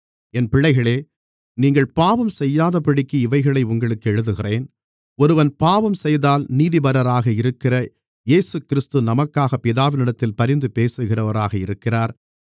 என் பிள்ளைகளே நீங்கள் பாவம் செய்யாதபடிக்கு இவைகளை உங்களுக்கு எழுதுகிறேன் ஒருவன் பாவம் செய்தால் நீதிபரராக இருக்கிற இயேசுகிறிஸ்து நமக்காகப் பிதாவினிடத்தில் பரிந்து பேசுகிறவராக இருக்கிறார்